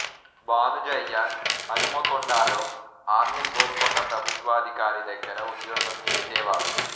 భానుజయ్య హనుమకొండలో ఆమిల్ గోల్కొండ ప్రభుత్వాధికారి దగ్గర ఉద్యోగం చేసేవాడు